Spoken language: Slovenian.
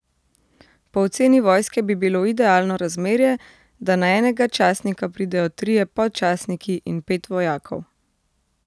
Po oceni vojske bi bilo idealno razmerje, da na enega častnika pridejo trije podčastniki in pet vojakov.